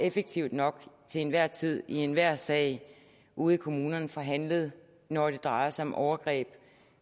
og effektivt nok til enhver tid i enhver sag ude i kommunerne får handlet når det drejer sig om overgreb